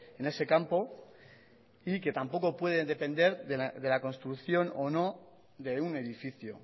en ese campo y que tampoco puede depender de la construcción o no de un edificio